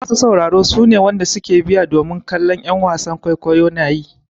Masa sauraro su ne wanda ke biya domin su kalla en wasannin kwaikwayo na yi.